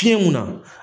Fiɲɛ munna